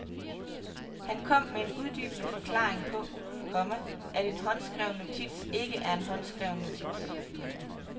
Han kom med en uddybende forklaring på, komma at en håndskreven notits ikke er en håndskreven notits. punktum